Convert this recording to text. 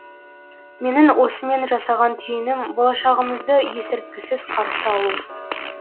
менің осымен жасаған түйінім болашағымызды есірткісіз қарсы алу